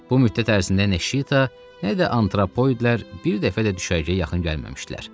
Bu müddət ərzində Neşita nə də antropoloidlər bir dəfə də düşərgəyə yaxın gəlməmişdilər.